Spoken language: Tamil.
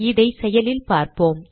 இதை செயலில் பார்ப்போம்